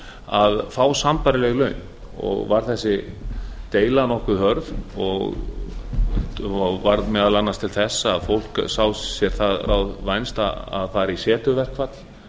að fá sambærileg laun og var þessi deila nokkuð hörð og varð meðal annars til þess að fólk sá sér það ráð vænst að fara i setuverkfall